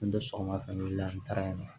N bɛ sɔgɔma fɛn weele an taara yen nɔ